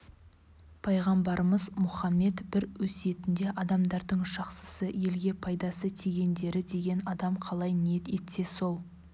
пайғамбарымыз мұхаммед бір өсиетінде адамдардың жақсысы елге пайдасы тигендері деген адам қалай ниет етсе сол